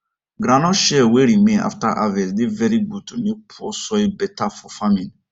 groundnut shell wey remain after harvest dey very good to make poor soil better for farming